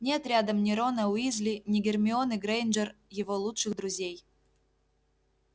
нет рядом ни рона уизли ни гермионы грэйнджер его лучших друзей